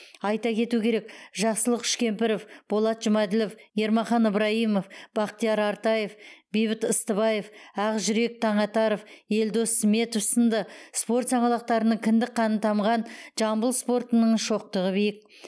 айта кету керек жақсылық үшкемпіров болат жұмаділов ермахан ыбраимов бақтияр артаев бейбіт ыстыбаев ақжүрек таңатаров елдос сметов сынды спорт саңлақтарының кіндік қаны тамған жамбыл спортының шоқтығы биік